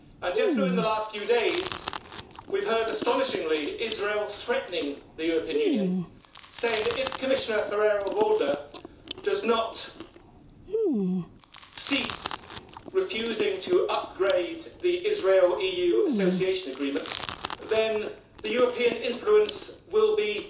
Just within the last few days we have heard, astonishingly, Israel threatening the European Union and saying that if Commissioner Ferrero Waldner continues refusing to upgrade the Israel EU Association Agreement, then European influence will be